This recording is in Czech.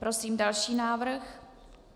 Prosím další návrh.